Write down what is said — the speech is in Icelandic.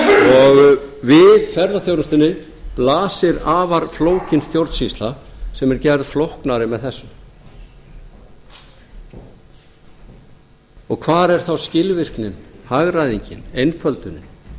og við ferðaþjónustunni blasir afar flókin stjórnsýsla sem er gerð flóknari með þessu hvar er þá skilvirknin hagræðingin einföldunin